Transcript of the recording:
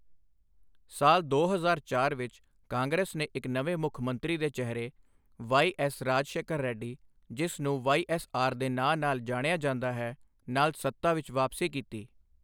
ਸਾਲ ਦੋ ਹਜ਼ਾਰ ਚਾਰ ਵਿੱਚ ਕਾਂਗਰਸ ਨੇ ਇਕ ਨਵੇਂ ਮੁੱਖ ਮੰਤਰੀ ਦੇ ਚਿਹਰੇ ਵਾਈ. ਐੱਸ. ਰਾਜਸ਼ੇਖਰ ਰੈੱਡੀ, ਜਿਸ ਨੂੰ ਵਾਈ. ਐੱਸ. ਆਰ.ਦੇ ਨਾਂ ਨਾਲ ਜਾਣਿਆ ਜਾਂਦਾ ਹੈ, ਨਾਲ ਸੱਤਾ ਵਿੱਚ ਵਾਪਸੀ ਕੀਤੀ।